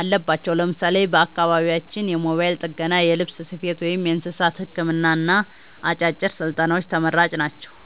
አለባቸው። ለምሳሌ በአካባቢያችን የሞባይል ጥገና፣ የልብስ ስፌት፣ ወይም የእንስሳት ሕክምና አጫጭር ስልጠናዎች ተመራጭ ናቸው።